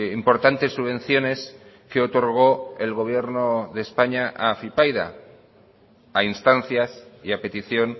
importantes subvenciones que otorgó el gobierno de españa a afypaida a instancias y a petición